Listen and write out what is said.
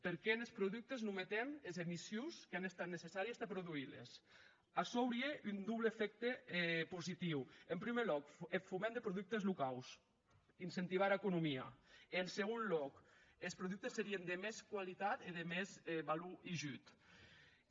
perqué enes productes non metem es emissions qu’an estat necessàries tà produsirles açò aurie un doble efècte positiu en prumèr lòc eth foment de productes locaus incentivar era economia en segon lòc es productes serien de mès qualitat e de mès valor hijuda